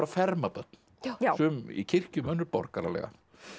ferma börn sum í kirkjum og önnur borgaralega